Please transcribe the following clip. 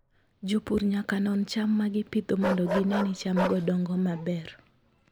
Jopur nyaka non cham ma gipidho mondo gine ni chamgo dongo maber.